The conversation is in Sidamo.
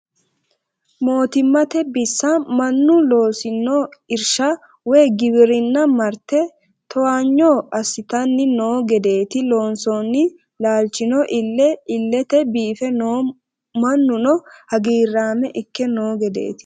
Mootimmate bisa mannu loosi'no irsha woyi giwirinna marrite towaanyo assittani no gedeti loonsonni laalchino iille ilete biife no mannuno hagiirama ikke no gedeti.